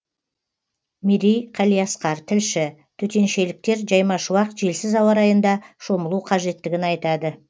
мерей қалиасқар тілші төтеншеліктер жайма шуақ желсіз ауа райында шомылу қажеттігін айтады